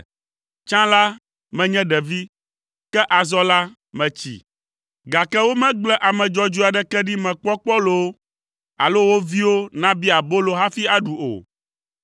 Tsã la, menye ɖevi, ke azɔ la metsi, gake womegble ame dzɔdzɔe aɖeke ɖi mekpɔ kpɔ loo, alo wo viwo nabia abolo hafi aɖu o.